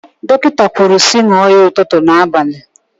Dọkịta kwuru sị ṅụọ ya ụtụtụ na abalị.